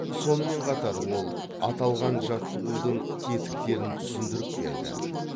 сонымен қатар ол аталған жаттығудың тетіктерін түсіндіріп берді